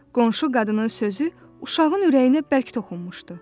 Qonşu qadının sözü uşağın ürəyinə bərk toxunmuşdu.